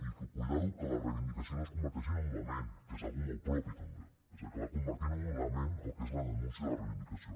i compte que la reivindicació no es converteixi en un lament que és una cosa molt pròpia també que és acabar convertint en un lament el que és la denúncia i la reivindicació